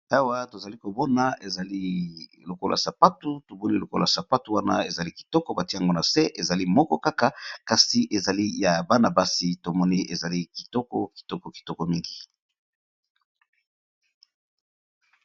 awa tozali kobona ezali lokola sapatu tuboli lokola sapatu wana ezali kitoko batiango na se ezali moko kaka kasi ezali ya bana-basi tomoni ezali kitoko kitoko kitoko mingi.